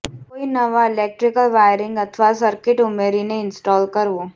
કોઈ નવા electrical wiring અથવા સર્કિટ ઉમેરીને ઇન્સ્ટોલ કરવું